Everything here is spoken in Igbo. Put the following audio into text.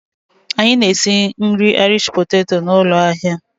Anyị na-esi nri poteto Irish na ụlọ ahịa.